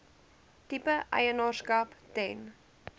tipe eienaarskap ten